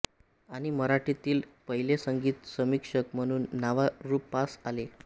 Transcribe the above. आणि मराठीतील पहिले संगीत समीक्षक म्हणून नावारूपास आले